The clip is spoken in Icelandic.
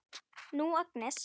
Nú, Agnes.